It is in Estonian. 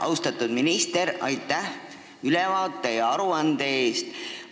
Austatud minister, aitäh ülevaate ja aruande eest!